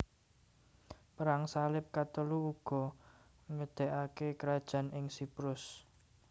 Perang Salib Katelu uga ngedekake krajan ing Siprus